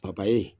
papaye